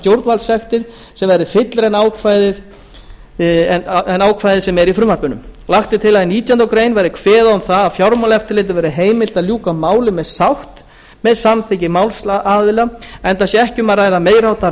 stjórnvaldssektir sem verði fyllra en ákvæðið sem er í frumvarpinu lagt er til að í nítjánda grein verði kveðið á um það að fjármáleftirlitinu verði heimilt að ljúka máli með sátt með samþykki málsaðila enda sé ekki um að ræða meiri háttar